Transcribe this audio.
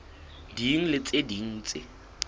ding le tse ding tse